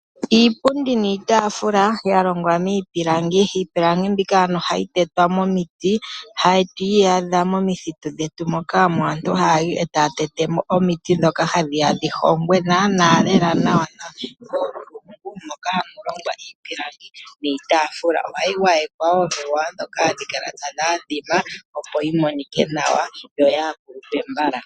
Iipundi niitaafula ya longwa miipilangi. Iipilangi mbika ohayi tetwa momiti, hatu yi adha momithitu dhetu moka aantu haya yi e taya tete mo omiti ndhoka hadhi ya dhi hongwe nawa, moka hamu longwa iipilangi niitaafula. Ohayi gwayekwa omigwayo ndhoka hadhi kala tadhi adhima, opo yi monike nawa yo yaakulupe mbala.